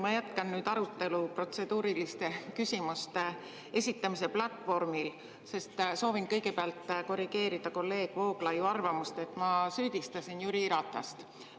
Ma jätkan arutelu protseduuriliste küsimuste esitamise platvormil, sest soovin kõigepealt korrigeerida kolleeg Vooglaiu arvamust, et ma süüdistasin Jüri Ratast.